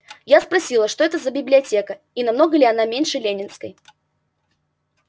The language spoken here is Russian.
я спросила что это за библиотека и намного ли она меньше ленинской